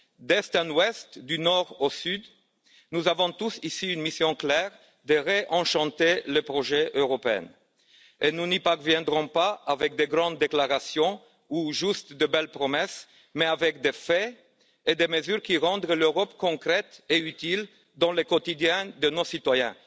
D'est en ouest, du nord au sud, nous avons tous, ici, une mission claire, celle de réenchanter le projet européen et nous n'y parviendrons pas avec de grandes déclarations ou seulement de belles promesses, mais avec des faits et des mesures qui rendront l'Europe concrète et utile dans la vie quotidienne de nos citoyens.